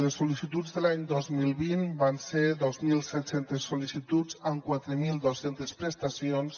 les sol·licituds de l’any dos mil vint van ser dos mil set cents sol·licituds amb quatre mil dos cents prestacions